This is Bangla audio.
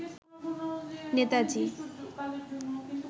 নেতাজী